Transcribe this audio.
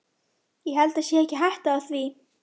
Ég held það sé ekki hætta á því.